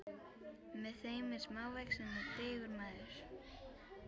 Með þeim er smávaxinn og digur maður.